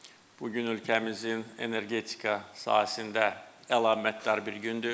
Bu gün ölkəmizin energetika sahəsində əlamətdar bir gündür.